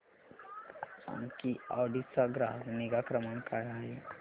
मला सांग की ऑडी चा ग्राहक निगा क्रमांक काय आहे